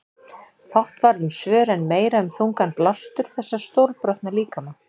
Fátt varð um svör en meira um þungan blástur þessa stórbrotna líkama.